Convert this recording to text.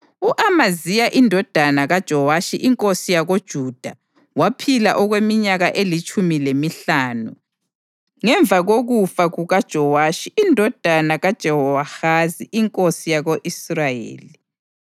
U-Amaziya indodana kaJowashi inkosi yakoJuda waphila okweminyaka elitshumi lemihlanu ngemva kokufa kukaJowashi indodana kaJehowahazi inkosi yako-Israyeli.